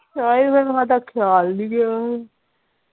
ਤਾਹੀ ਫਿਰ ਸਾਡਾ ਖਿਆਲ ਨਹੀਂ ਰਿਹਾ।